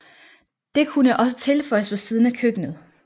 Det kunne også tilføjes på siden af køkkenet